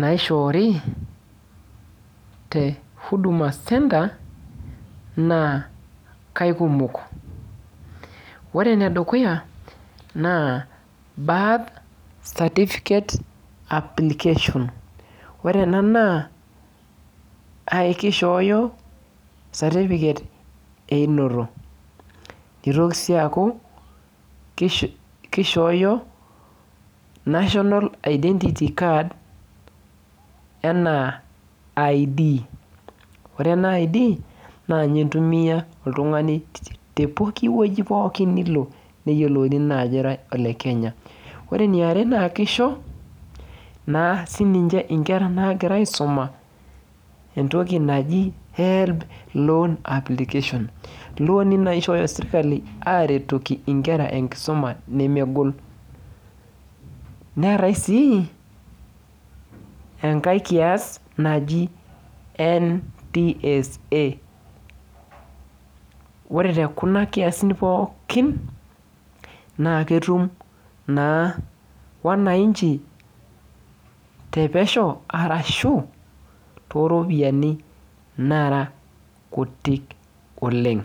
naishoori te huduma centre, naa kaikumok. Ore enedukuya naa birth certificate application. Ore ena naa kishooyo satipiket einoto. Nitoki si aku kishooyo, National Identity Card, enaa I'd. Ore ena I'd, nanye intumia oltung'ani tepooki wueji pookin nilo neyiolouni naajo ira ole Kenya. Ore eniare naa kisho, naa sininche inkera nagira aisuma entoki naji Helb loan application. Ilooni naishooyo sirkali aretoki inkera enkisuma nemegol. Neetae si enkae kias naji NTSA. Ore tekuna kiasin pookin, naa ketum naa wananchi tepesho arashu toropiyiani nara kutik oleng.